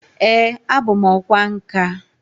Ee, abu m ọkwá nkà